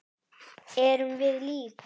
Erum við lík?